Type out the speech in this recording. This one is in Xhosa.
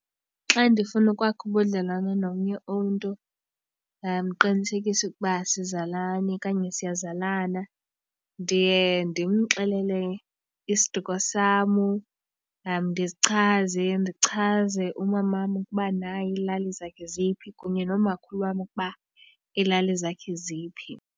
Xa ndifuna ukwakha ubudlelwane nomnye umntu ndiqinisekise ukuba asizalani okanye siyazalana ndiye ndimxelele isiduko sam, ndichaze umamam ukuba naye ilali zakhe eziphi kunye nomakhulu wam ukuba iilali zakhe ziphi.